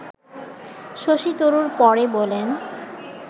শশী তরুর পরে বলেন